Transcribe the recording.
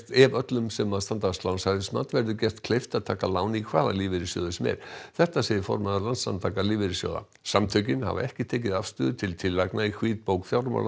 ef öllum sem standast lánshæfismat verður gert kleift að taka lán í hvaða lífeyrissjóði sem er þetta segir formaður Landssamtaka lífeyrissjóða samtökin hafa ekki tekið afstöðu til tillagna í hvítbók